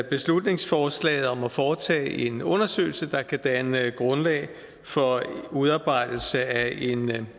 beslutningsforslaget om at foretage en undersøgelse der kan danne grundlag for udarbejdelse af en